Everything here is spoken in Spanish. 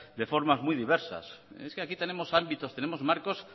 de formas muy diversas y es que aquí tenemos ámbitos tenemos marcos